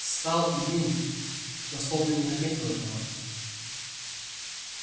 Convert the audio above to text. стал иным но словно и не заметил этого